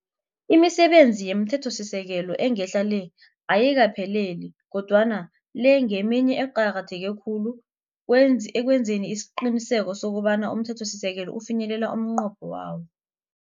Imisebenzi yomthethosisekelo engehla le, ayikaphelele kodwana le ngeminye eqakatheke khulu ekwenzeni isiqiniseko sokuthi umthethosisekelo ufinyelela umnqopho wawo.